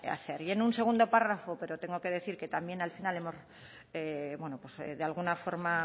hacer y en un segundo párrafo pero tengo que decir que también al final hemos de alguna forma